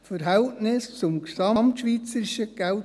Verhältnis zum GSK: